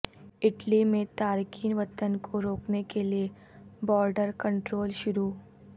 Italy میں تارکین وطن کو روکنے کے لئے بارڈر کنٹرول شروع